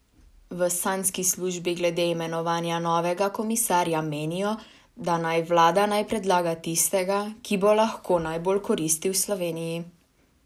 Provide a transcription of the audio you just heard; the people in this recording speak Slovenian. V Sanjski službi glede imenovanja novega komisarja menijo, da naj vlada naj predlaga tistega, ki bo lahko najbolj koristil Sloveniji.